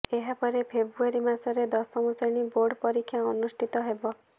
ଏହାପରେ ଫେବ୍ରୁଆରି ମାସରେ ଦଶମ ଶ୍ରେଣୀ ବୋର୍ଡ ପରୀକ୍ଷା ଅନୁଷ୍ଠିତ ହେବ